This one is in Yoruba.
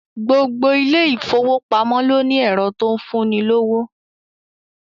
Gbogbo ilé ìfowópamọ́ ló ní ẹ̀rọ tó ń fún ni lówó